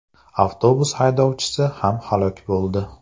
Avtobus haydovchisi ham halok bo‘ldi.